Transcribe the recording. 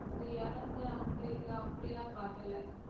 இந்த இறந்த அந்த இது அப்படியெல்லாம் காட்டல